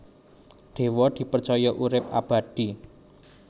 Dewa dipercaya urip abadi